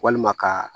Walima ka